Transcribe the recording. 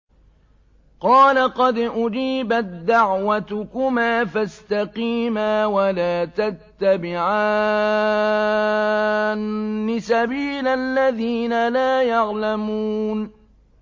قَالَ قَدْ أُجِيبَت دَّعْوَتُكُمَا فَاسْتَقِيمَا وَلَا تَتَّبِعَانِّ سَبِيلَ الَّذِينَ لَا يَعْلَمُونَ